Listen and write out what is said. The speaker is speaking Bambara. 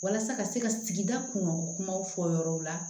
Walasa ka se ka sigida kun kumaw fɔ yɔrɔw la